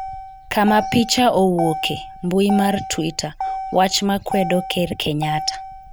kama picha owuoke, mbui mar twitter ,wach ma kwedo ker Kenyatta